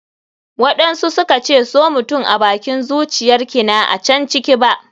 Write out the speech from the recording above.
waɗansu suka ce so mutum abakin zuciyar kina a can ciki ba.